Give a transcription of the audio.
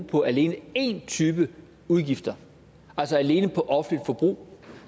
på alene én type udgifter altså alene på offentligt forbrug